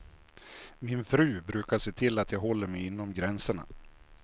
Min fru brukar se till att jag håller mig inom gränserna.